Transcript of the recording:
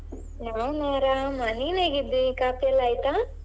ನಾನ್ ಅರಾಮ ನೀನ್ ಹೇಗಿದ್ದಿ ಕಾಫಿಯೆಲ್ಲ ಆಯ್ತಾ?